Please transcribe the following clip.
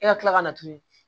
E ka tila ka na tuguni